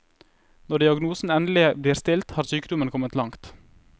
Når diagnosen endelig blir stilt har sykdommen kommet langt.